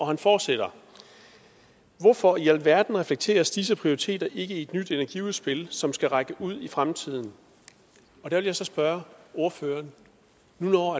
han fortsætter hvorfor i alverden reflekteres disse prioriteter ikke i et nyt energiudspil som skal række ud i fremtiden der vil jeg så spørge ordføreren når